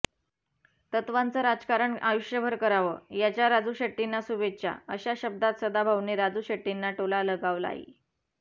तत्वाचं राजकारण आयुष्यभर करावं याच्या राजू शेट्टींना शुभेच्छा अशा शब्दात सदाभाऊंनी राजू शेट्टींना टोला लगावलाय